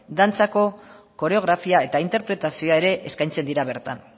dantzako koreografia eta interpretazio ere eskaintzen dira bertan